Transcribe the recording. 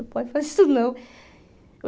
Não pode fazer isso, não.